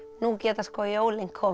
nú geta jólin komið